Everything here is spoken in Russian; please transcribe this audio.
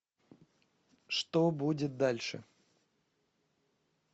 что будет дальше